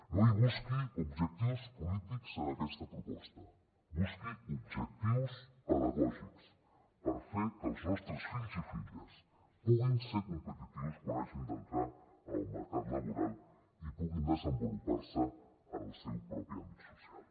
no hi busqui objectius polítics en aquesta proposta busqui objectius pedagògics per fer que els nostres fills i filles puguin ser competitius quan hagin d’entrar al mercat laboral i puguin desenvolupar se en el seu propi àmbit social